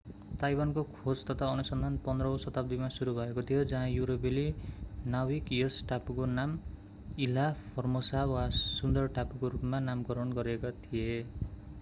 ताइवानको खोज तथा अनुसन्धान 15 औँ शताब्दीमा सुरु भएको थियो जहाँ युरोपेली नाविक यस टापुको नाम इल्हा फोर्मोसा वा सुन्दर टापुको रूपमा नामकरण गरेका थिए